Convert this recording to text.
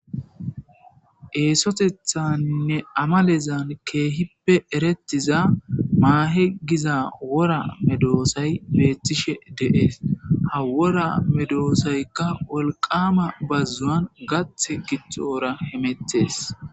Esoththeninne amalezzan keehippe eretizza mahe gizza wora medhdhosay betishshen de'es ha wora medhdhosayikka wolqqama bazzuwan gaththa gaththes.